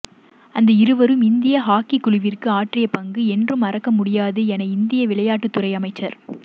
அந்த இருவரும் இந்திய ஹாக்கிக் குழுவிற்கு ஆற்றி பங்கு என்றும் மறக்க முடியாது என இந்தியா விளையாட்டுத்துறை அமைச்சர்